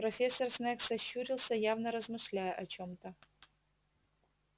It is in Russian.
профессор снегг сощурился явно размышляя о чём-то